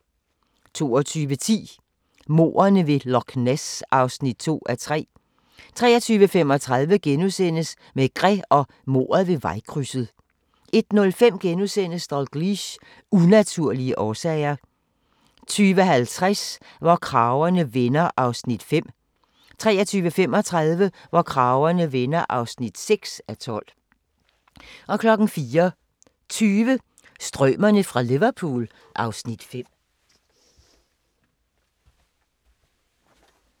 22:10: Mordene ved Loch Ness (2:3) 23:35: Maigret og mordet ved vejkrydset * 01:05: Dalgliesh: Unaturlige årsager * 02:50: Hvor kragerne vender (5:12) 03:35: Hvor kragerne vender (6:12) 04:20: Strømerne fra Liverpool (Afs. 5)